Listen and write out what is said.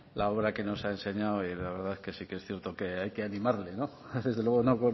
la obra que nos ha enseñado y la verdad que sí que es cierto que hay que animarle no desde luego no